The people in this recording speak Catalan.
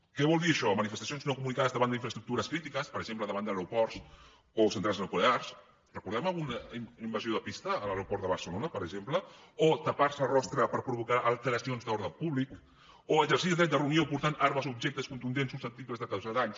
què vol dir això manifestacions no comunicades davant d’infraestructures crítiques per exemple davant d’aeroports o centrals nuclears recordem alguna invasió de pista a l’aeroport de barcelona per exemple o tapar se el rostre per provocar alteracions de l’ordre públic o exercir el dret de reunió portant armes o objectes contundents susceptibles de causar danys